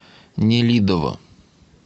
нелидово